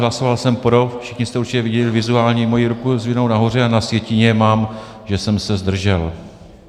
Hlasoval jsem pro, všichni jste určitě viděli vizuálně moji ruku zdviženou nahoře, a na sjetině mám, že jsem se zdržel.